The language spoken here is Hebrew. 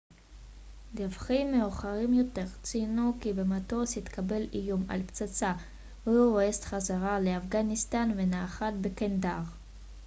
דיווחים מאוחרים יותר ציינו כי במטוס התקבל איום על פצצה והוא הוסט חזרה לאפגניסטן ונחת בקנדהאר